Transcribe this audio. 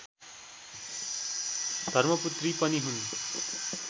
धर्मपुत्री पनि हुन्